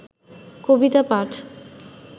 কবিতা পাঠ